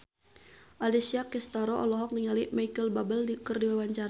Alessia Cestaro olohok ningali Micheal Bubble keur diwawancara